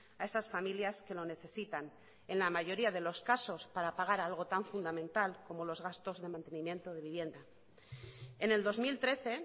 a esas familias que lo necesitan en la mayoría de los casos para pagar algo tan fundamental como los gastos de mantenimiento de vivienda en el dos mil trece